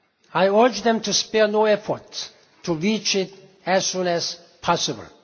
I urge them to spare no effort to reach it as soon as possible.